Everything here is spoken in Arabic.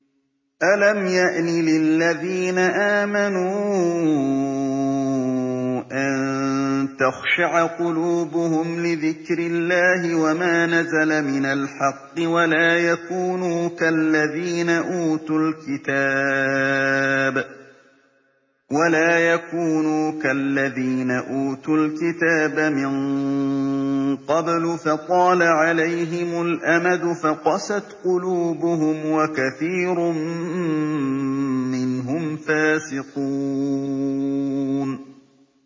۞ أَلَمْ يَأْنِ لِلَّذِينَ آمَنُوا أَن تَخْشَعَ قُلُوبُهُمْ لِذِكْرِ اللَّهِ وَمَا نَزَلَ مِنَ الْحَقِّ وَلَا يَكُونُوا كَالَّذِينَ أُوتُوا الْكِتَابَ مِن قَبْلُ فَطَالَ عَلَيْهِمُ الْأَمَدُ فَقَسَتْ قُلُوبُهُمْ ۖ وَكَثِيرٌ مِّنْهُمْ فَاسِقُونَ